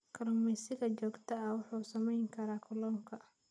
Kalluumeysiga joogtada ah wuxuu saameyn karaa kalluunka.